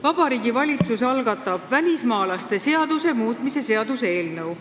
Vabariigi Valitsus algatab välismaalaste seaduse muutmise seaduse eelnõu.